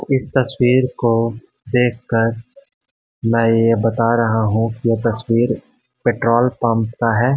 इस तस्वीर को देखकर मैं ये बता रहा हूं कि ये तस्वीर पेट्रोल पंप का है।